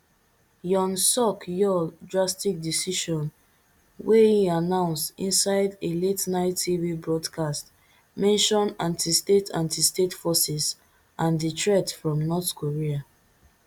yoon suk yeol drastic decision wey e announce inside a la ten ight tv broadcast mention antistate antistate forces and di threat from north korea